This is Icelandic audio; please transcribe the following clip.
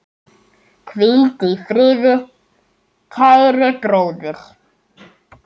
Hvíldu í friði, kæri bróðir.